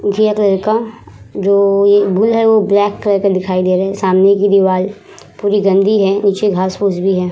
घिया कलर का जो ये बुल है वो ब्लैक कलर का दिखई दे रहा है। सामने का दिवार पूरी गन्दी है उची घास पूस भी है।